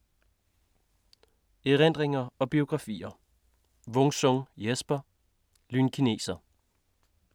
Erindringer og biografier